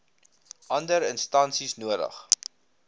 ander instansies nodig